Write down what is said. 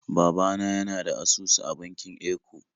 Baba na yana da asusu a bankin Eco